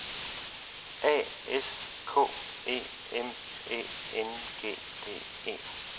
A S K E M Æ N G D E